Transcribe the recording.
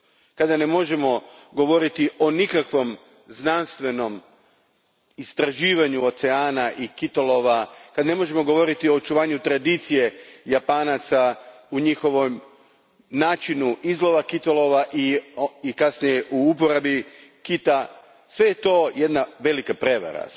kada ne možemo govoriti o nikakvom znanstvenom istraživanju oceana i kitolova, kada ne možemo govoriti o očuvanju tradicije Japanaca u njihovom načinu izlova i kasnije, uporabi kitova. Sve je to jedna velika prijevara.